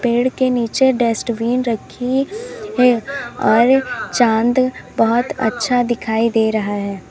पेड़ के नीचे डस्टबिन रखी है और चांद बहोत अच्छा दिखाई दे रहा है।